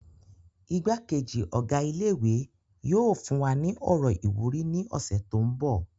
Igbá-kejì Ọ̀gá ilé ìwé yóò fún wa ní ọ̀rọ̀ ìwúrí ní ọ̀sẹ̀ tó mbọ̀